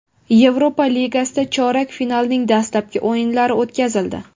Yevropa Ligasida chorak finalning dastlabki o‘yinlari o‘tkazildi.